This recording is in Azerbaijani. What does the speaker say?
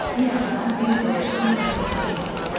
Bir azdan bir dovşan qaça-qaça gəldi.